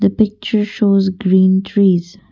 the picture shows green trees.